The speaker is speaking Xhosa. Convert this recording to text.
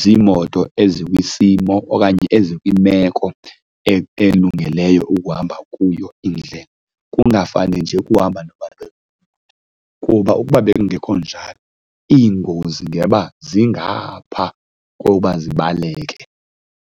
ziimoto ezi kwisimo okanye ezikwimeko elungeleyo ukuhamba kuyo indlela, kungafane nje ukuhamba . Kuba ukuba bekungekho njalo, iingozi ngeba zingaphaa koba zibaleke.